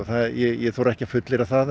ég þori ekki að fullyrða það